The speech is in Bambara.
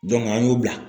an y'u bila